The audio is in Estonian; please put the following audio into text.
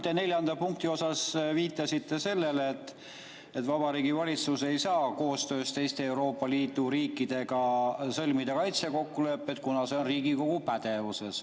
Te neljanda punkti juures viitasite sellele, et Vabariigi Valitsus ei saa koostöös teiste Euroopa Liidu riikidega sõlmida kaitsekokkulepet, kuna see on Riigikogu pädevuses.